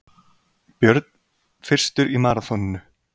Björn fyrstur í maraþoninu